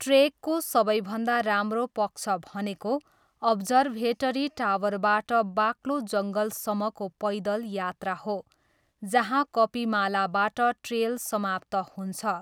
ट्रेकको सबैभन्दा राम्रो पक्ष भनेको अब्जर्भेटरी टावरबाट बाक्लो जङ्गलसम्मको पैदल यात्रा हो जहाँ कपिमालाबाट ट्रेल समाप्त हुन्छ।